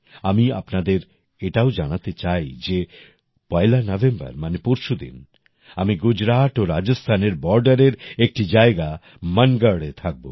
আমি আপনাদের এটাও জানাতে চাই যে পয়লা নভেম্বর মানে পরশুদিন আমি গুজরাট ও রাজস্থানের বর্ডারের একটি জায়গা মানগঢ়এ থাকবো